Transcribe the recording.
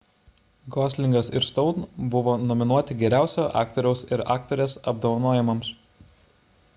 goslingas ir stone buvo nominuoti geriausio aktoriaus ir aktorės apdovanojimams